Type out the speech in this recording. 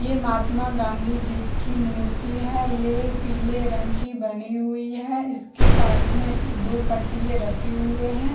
ये महात्मा गाँधी जी की मूर्ति है ये पिले रंग की बनी हुई है इसके पास में दो पट्टिये रखे हुए है।